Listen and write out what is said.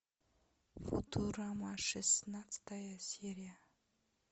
футурама шестнадцатая серия